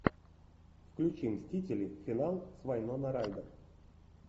включи мстители финал с вайнона райдер